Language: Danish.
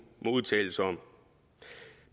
må udtale sig om